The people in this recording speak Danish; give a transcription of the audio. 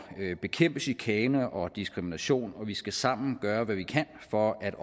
bekæmpe chikane og diskrimination og vi skal sammen gøre hvad vi kan for at